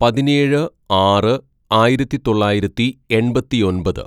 "പതിനേഴ് ആറ് ആയിരത്തിതൊള്ളായിരത്തി എണ്‍പത്തിയൊമ്പത്‌